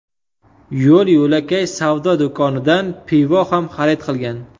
Yo‘l-yo‘lakay savdo do‘konidan pivo ham xarid qilgan.